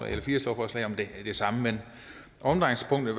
eller fire lovforslag om det samme men omdrejningspunktet